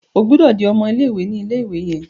O gbódò dì ọmọ ilé-ìwé ní ilé-ìwé yen!